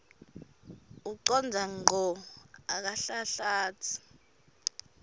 ucondza ngco akanhlanhlatsi